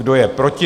Kdo je proti?